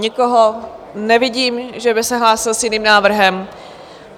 Nikoho nevidím, že by se hlásil s jiným návrhem.